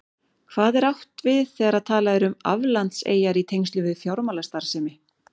Hvað er átt við þegar talað er um aflandseyjar í tengslum við fjármálastarfsemi?